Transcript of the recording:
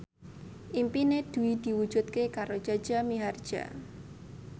impine Dwi diwujudke karo Jaja Mihardja